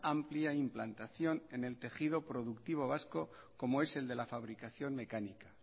amplia implantación en el tejido productivo vasco como es el de la fabricación mecánica